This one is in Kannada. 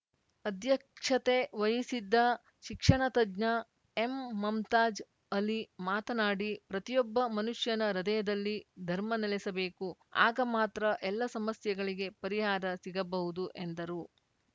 ಅಧ್ಯಕ್ಷತೆ ವಹಿಸಿದ್ದ ಶಿಕ್ಷಣ ತಜ್ಞ ಎಂಮಮ್ತಾಜ್‌ ಅಲಿ ಮಾತನಾಡಿ ಪ್ರತಿಯೊಬ್ಬ ಮನುಷ್ಯನ ಹೃದಯದಲ್ಲಿ ಧರ್ಮ ನೆಲೆಸಬೇಕು ಆಗ ಮಾತ್ರ ಎಲ್ಲ ಸಮಸ್ಯೆಗಳಿಗೆ ಪರಿಹಾರ ಸಿಗಬಹುದು ಎಂದರು